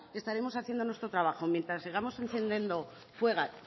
estaremos haciendo nuestro trabajo mientras sigamos incendiando